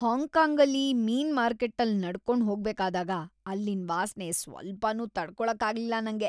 ಹಾಂಗ್‌ಕಾಂಗಲ್ಲಿ ಮೀನ್ ಮಾರ್ಕೆಟ್ಟಲ್ ನಡ್ಕೊಂಡ್ ಹೋಗ್ಬೇಕಾದಾಗ ಅಲ್ಲಿನ್‌ ವಾಸ್ನೆ ಸ್ವಲ್ಪನೂ ತಡ್ಕೊಳಕ್ಕಾಗ್ಲಿಲ್ಲ ನಂಗೆ.